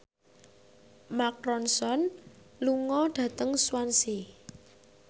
Mark Ronson lunga dhateng Swansea